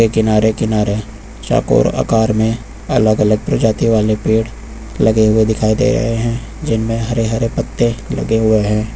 किनारे किनारे चौकोर आकार में अलग अलग प्रजाति वाले पेड़ लगे हुए दिखाई दे रहे हैं जिनमें हरे हरे पत्ते लगे हुए हैं।